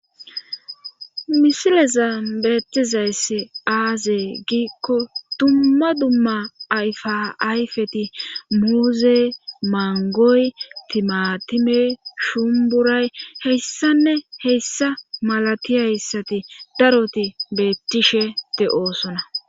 misileza beettizayss aazee giikko dumma dumma ayfaayfeti muuze mangoy timatime shumburay heyssanne heyssa malati hayssati daroti beettishe te7oosona